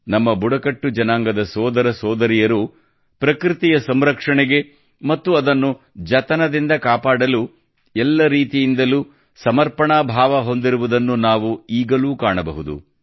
ನಮ್ಮ ಬುಡಕಟ್ಟು ಜನಾಂಗದ ಸೋದರಸೋದರಿಯರು ಪ್ರಕೃತಿಯ ಸಂರಕ್ಷಣೆಗೆ ಮತ್ತು ಅದನ್ನು ಜತನದಿಂದ ಕಾಪಾಡಲು ಎಲ್ಲ ರೀತಿಯಿಂದಲೂ ಸಮರ್ಪಣಾ ಭಾವ ಹೊಂದಿರುವುದನ್ನು ನಾವು ಈಗಲೂ ಕಾಣಬಹುದು